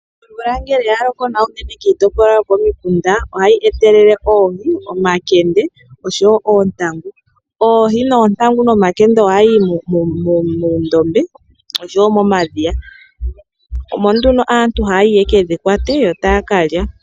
Omvula ngele oyaloko nawa unene kiitopolwa yokomikunda ohayi etelele oohi omakende oshowoo oontangu. Oohi ,oontangu nomakende ohadhi yi muundombe oshowoo momadhiya. Omo nduno aantu haya yi yekedhi kwate yotaya kalya.